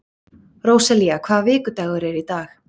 Róselía, hvaða vikudagur er í dag?